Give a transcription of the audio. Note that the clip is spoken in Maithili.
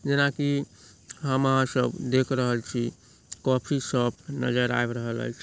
जैना की हम आहां सब देख रहल छी काफ़ी शॉप नज़र आब रहल ऐछ ।